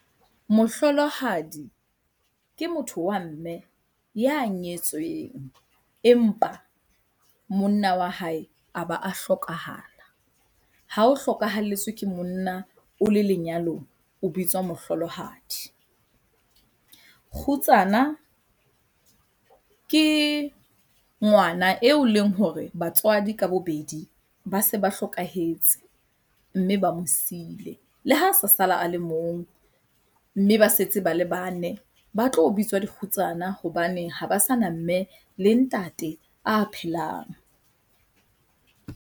Mohlolohadi ke motho wa mme ya nyetsweng, empa monna wa hae a ba a hlokahala. Ha o hlokahalletswe ke monna o le lenyalong, o bitswa mohlolohadi. Kgutsana ke ngwana eo e leng hore batswadi ka bobedi ba se ba hlokahetse, mme ba mo sile. Le ha sa sala a le mong mme ba setse ba le bane, ba tlo bitswa dikgutsana hobane ha ba sana mme le ntate a phelang.